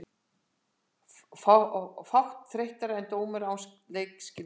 Fátt þreyttara en dómari án leikskilnings.